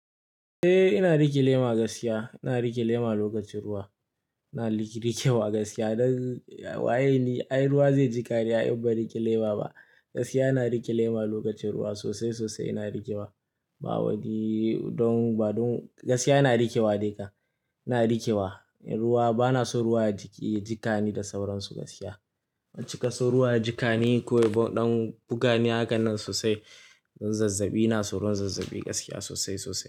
Eh ina rike lema gaskiya, ina rike lema lokacin ruwa. Ina rikewa gaskiya don wayeni ai ruwa zai jiƙa ni ai in ba rike lema ba. Gaskiya ina rike lema lokacin ruwa sosai sosai ina rikewa. Ba wani don ba don gaskiya ina rikewa dai ka, ina rikewa. Ruwa bana so ruwa ya jiƙe jikani da sauransu gaskiya. Ban cika so ruwa ya jiƙa ni ko don buga ni hakan nan sosai. Don zazzabi ina soron zazzabi gaskiya sosai sosai.